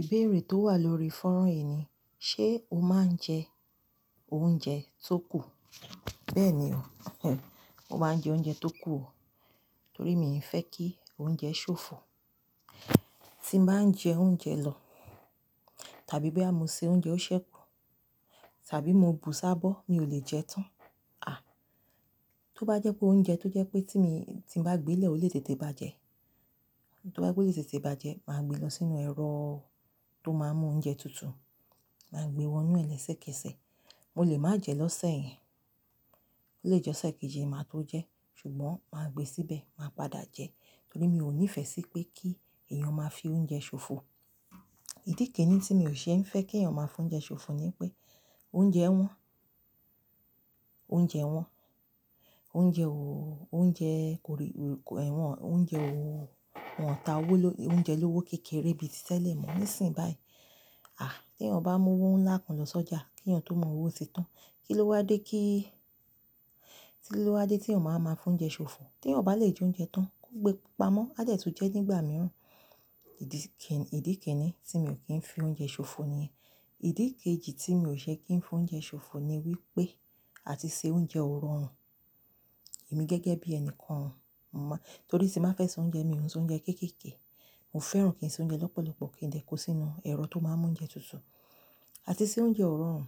Ìbéèrè tó wà lórí fọ́nrán yìí ni, ṣe o máa ń jẹ oúnjẹ tó kù? Bẹ́ẹ̀ ni o, mo máa ń jẹ oúnjẹ tó kù o, torí mi ò fẹ́ kí oúnjẹ ṣòfò. Tí n bá ń jẹ oúnjẹ lọ tàbí bí a bá mu se oúnjẹ ó ṣẹ́kù tàbí mo bù s'ábó, mi ò lè jẹ tán. À, tó bá jẹ́ pé oúnjẹ tó jẹ́ pé tí mi-- tí bá gbé lè ó lè tètè bàjẹ́, tó bá jẹ́ pe ó lè tètè bàjẹ́, màá gbe lọ sínú ẹ̀rọ tó máa mú oúnjẹ tutù, màá gbe wọnú ẹ lẹ́sẹ̀kẹ́sẹ̀. Mo lè má jẹ lọ́sẹ̀ yen, ó lè jẹ́ ọ̀sẹ̀ kejì ni màá tó jẹ́, ṣùgbọ́n màá gbe síbẹ̀, màá padà jẹ́ torí mi ò nífẹ̀ẹ́ sí pé kí èèyàn máa fi oúnjẹ ṣòfò. Ìdí kini tí mi ò ṣe ń fẹ́ kí èèyàn máa fi oúnjẹ ṣòfò ni pé oúnjẹ wọn, oúnjẹ wọn, oúnjẹ ò-- oúnjẹ kò rí-- kò-- ẹ̀ wọ́n-- oúnjẹ ò-- wọ́n ta owó ló-- oúnjẹ lówó kékeré bí i títẹ̀ lé mọ́ ní ìsìn báyìí. À, tí èèyàn bá mú owó ńlá kan lọ sọ́jà, kí èèyàn tó mọ owó ti tán, kí ló wá dé kí-- kí ló wá dé tí èèyàn máa máa fún oúnjẹ ṣòfò? Tí èèyàn ò bá lè jẹ oúnjẹ tán, kó gbe pápá mọ́. A dẹ tun jẹ́ nígbà mìíràn. Ìdí kin—ìdí kínní tí mi ò kí ń fi oúnjẹ ṣòfò nìyẹn. Ìdí kejì tí mi ò ṣe kí ń f’oúnjẹ ṣòfọ̀ ni wípé àti ṣe oúnjẹ ò pe rọrùn. Èmi gẹ́gẹ́ bí ẹni kan ò mo má, torí tí n bá fẹ́ se oúnjẹ mi ò ń ṣé oúnjẹ kéékèèké. Mo fẹ́ràn kí n sè oúnjẹ lọ́pọ̀lọpọ̀ kí n dẹ̀ kó sínú ẹ̀rọ tó máa ń mú oúnjẹ tutù. Àti se oúnjẹ ò rọrùn,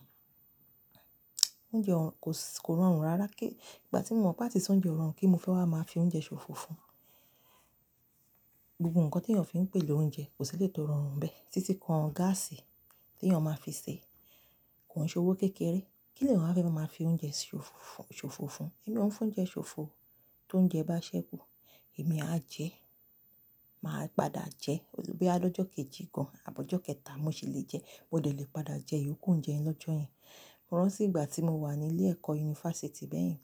oúnjẹ ò rọ kòs— kò rọrùn rárá ké—ìgbà tí mo mọ̀ pé àti se oúnjẹ ò rọrùn kín mo fẹ́ wá máa fi oúnjẹ ṣòfò fún. Gbogbo nǹkan t’èèyàn fi ń pèlo oúnjẹ kò sí eléyìí tó rọrùn ń bẹ̀ títí kan gáàsì tí èèyàn máa fi sè, kò ń ṣe owó kékeré. Kí l’èèyàn wá fẹ́ máa ma fi oúnjẹ si òfò fún, ṣòfò fún? Èmi ò ń f’oúnjẹ ṣòfò. T’oúnjẹ bá ṣẹ́kù, èmi á jẹ, màá padà jẹ. Bọ́yá lọ́jọ́ kejì gan, àb’ọ̀jọ́ kẹta, mo sì lè jẹ, mo dẹ̀ lè padà jẹ, ìyókù oúnjẹ yẹn lọ́jọ́ yẹn. Mo rántí ìgbà tí mo wà ní ilé ẹ̀kọ́ yunifásítì bẹ́ẹ̀ yẹn,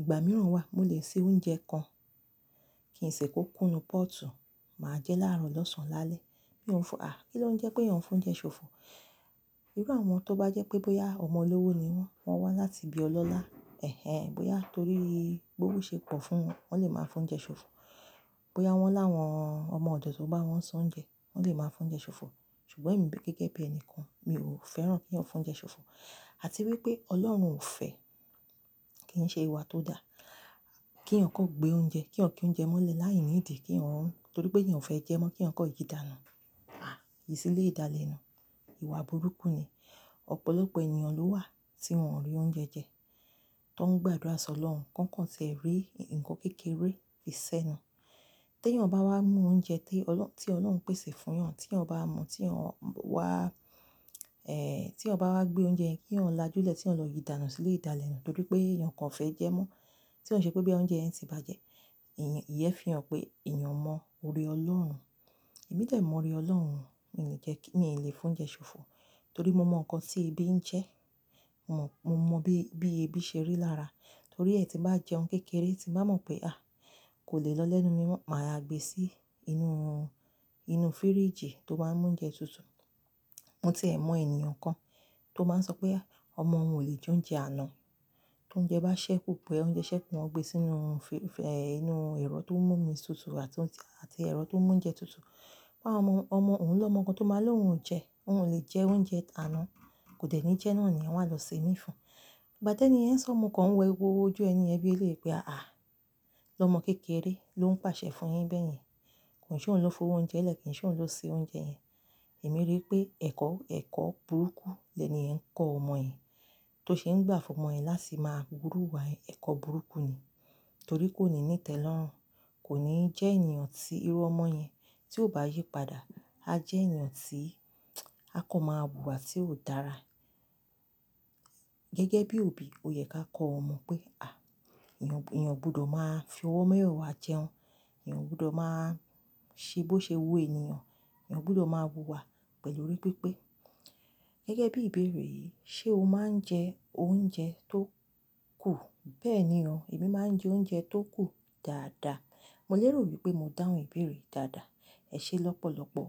ìgbà mìíràn wà, mo lè se oúnjẹ kan, kí n sì kó kúnú pọ́ọ̀tù, màá jẹ́ láàárọ̀, lọ́sàn án, lálẹ́. Mi ò ń fo-- à, kí ló ń jẹ́ pé èèyàn ń f’oúnjẹ ṣòfò? Irú àwọn tó bá jẹ́ pé bóyá ọmọ olówó ni wọ́n, wọ́n wá láti ibi ọlọ́lá, ẹ̀n-ẹ̀n bóyá torí b’ówó ṣe pọ̀ fún wọn, wọ́n lè máa f’oúnjẹ ṣòfò. Bóyá wọ́n láwọn ọmọ ọ̀dọ̀ tó ń bá wọn s’oúnjẹ, wọ́n lè máa f’oúnjẹ ṣòfò. Ṣùgbọ́n èmi gẹ́gẹ́ bí ẹni kan, mi ò fẹ́ràn k’èèyàn f’oúnjẹ ṣòfò. Àti wípé Ọlọ́run ò fẹ́, kí ń ṣe ìwà tó dáa. Kí èèyàn kàn gbé oúnjẹ, k’èèyàn kí oúnjẹ mọ́lẹ̀ láì ní ìdí, k’èèyàn ún—torí pé èèyàn fẹ́ jẹ mọ́, k’èèyàn kàn yi dànù, à, ìsìlé ìdalẹ̀nù, ìwà burúkú ni. Ọ̀pọ̀lọpọ̀ ènìyàn ló wà tí wọn ò rí oúnjẹ jẹ, tó ń gbàdúrà s’Ọlọ́run kánkàn ti ẹ̀ rí ǹkan kékeré fi sẹ́nu. T’èèyàn bá wá mú oúnjẹ tí ọlọ́-- tí Ọlọ́run pèsè fún yàn, tí èèyàn bá mu, tí èèyàn wá, tí èèyàn bá wá gbé oúnjẹ yẹn kí èèyàn lajúlẹ̀, tí èèyàn lọ yíi dànù sílẹ̀ ìdalẹ̀nù torí pé èèyàn kan ò fẹ́ jẹ ẹ́ mọ́. Tí ò ń ṣe pé bọ́yá oúnjẹ yẹn ti bàjẹ́, ìyẹn fi hàn pé èèyàn ò mọ oorr Ọlọ́run. Èmí dẹ̀ mọ oore Ọlọ́run, mi ò ní jẹ́ kí— mi ò lè f’oúnjẹ ṣòfò torí mo mọ̀ nǹkan tí ebi ń jẹ, mo mọ̀, mo mọ̀ bí, bí ebi ṣe rí lára. Torí è tí n bá jẹun kékeré tí n bá mọ̀ pé à, kò lè lọ lẹ́nu mi mọ́, màá ya gbe sí inú, inú fíríjì tó máa ń mú oúnjẹ tutù. Mo ti ẹ̀ mọ ènìyàn kan tó máa ń sọ pé áh, ọmọ òun ò lè jẹ oúnjẹ àná. T’oúnjẹ bá ṣẹ́ kú pẹ́, bọ́yá oúnjẹ ṣẹ́ kù wọ́n gbe sínú inú ẹ̀rọ tó ń mú omi tutù àti, àti ẹ̀rọ tó ń mú oúnjẹ tutù. Pa ọmọ, ọmọ òun lọ́mọ kan tó máa l’ohun ò jẹ, òun ò lè jẹ oúnjẹ t’àná, kò dẹ̀ ní jẹẹ́ náà nìyẹn wọ́n á lọ se míì fun. Ìgbà t’ẹ́ni yẹn ń sọ, mo kàn ń wo ew–wó ojú ẹni yẹn bíi eléyìí pé á àá, lọ́mọ kékeré ló ń pàṣẹ fún yín bẹ́ẹ̀ yẹn? Kó ń ṣ’òun ló f’owó oúnjẹ lẹ̀, kó ń ṣ’òun ló sè oúnjẹ yẹn. Èmi rí i pé ẹ̀kọ́, ẹ̀kọ́ burúkú lẹni yẹn ń kọ́ ọmọ yẹn. Bó ṣe ń gbà fún ọmọ yẹn láti máa wu irú ìwà yẹn, ẹ̀kọ́ burúkú ni. Torí kò ní ní ìtẹ́lọ́rùn, kò ní jẹ́ ènìyàn tí irú ọmọ yẹn tí ó bá yípadà, á jẹ́ ènìyàn tí a kọ́ máa wù wà tí ò dára. Gẹ́gẹ́ bí òbí, ó yẹ ká kọ ọmọ pé à, èèyàn, èèyàn gbudọ̀ máa fi owó mẹ́wẹ̀wàá jẹun. Èèyàn gbudọ̀ máa ṣe bó ṣe wu ènìyàn, èèyàn gbudọ̀ máa wu wa pẹ̀lú orí pípé. Gẹ́gẹ́ bí ìbéèrè yìí, ṣe o máa ń jẹ oúnjẹ tó kù? Bẹ́ẹ̀ ni o, èmi máa ń jẹ oúnjẹ tó kù dáadáa. Mo lérò wípé mo dáhùn ìbéèrè yìí dáadáa. Ẹ ṣé lọ́pọ̀lọpọ̀.